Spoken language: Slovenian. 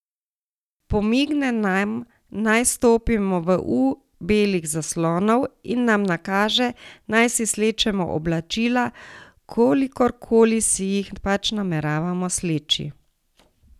Pomigne nam, naj stopimo v U belih zaslonov, in nam nakaže, naj si slečemo oblačila, kolikorkoli si jih pač nameravamo sleči.